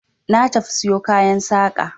Na tafi siyo kayan saƙa.